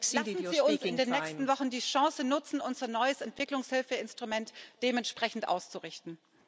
Lassen Sie uns in den nächsten Wochen die Chance nutzen, unser neues Entwicklungshilfeinstrument dementsprechend auszurichten.